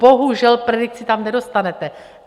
Bohužel, predikci tam nedostanete.